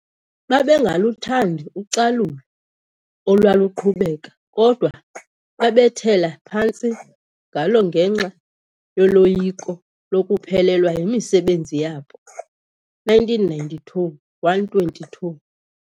Babengaluthandi ucalulo olwaluqhubeka kodwa babethela phantsi ngalo ngenxa yoloyiko lokuphelelwa yimisebenzi yabo. 1992 - 122.